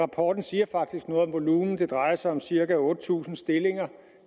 rapporten siger faktisk noget om volumen det drejer sig om cirka otte tusind stillinger